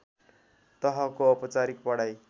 तहको औपचारिक पढाइ